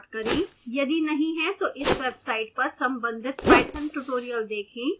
यदि नहीं है तो इस वेबसाइट पर संबंधित पाइथन ट्यूटोरियल देखें